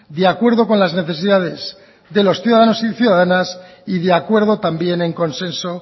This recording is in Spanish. de acuerdo con las necesidades de los ciudadanos y ciudadanas y de acuerdo también en consenso